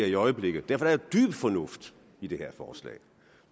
i øjeblikket derfor er dyb fornuft i det her forslag